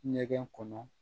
Ɲɛgɛn kɔnɔ